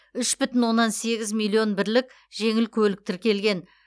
үш бүтін оннан сегіз миллион бірлік жеңіл көлік тіркелген